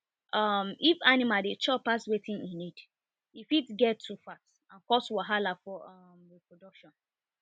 um if animal dey chop pass wetin e need e fit get too fat and cause wahala for um reproduction